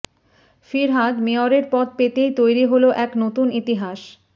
ফিরহাদ মেয়রের পদ পেতেই তৈরি হল এক নতুন ইতিহাস